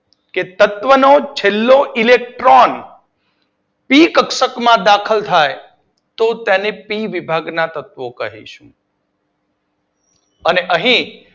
તત્વો નો છેલ્લો ઈલેકટ્રોન પી કક્ષકમાં દાખલ થાય તો તેને પી વિભાગના તત્વો કહીશું અને અહી